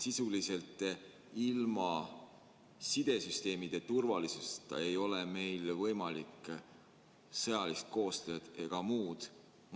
Sisuliselt ilma sidesüsteemide turvalisuseta ei ole meil võimalik teha sõjalist koostööd ega muud